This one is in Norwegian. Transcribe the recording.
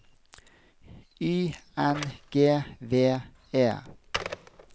Y N G V E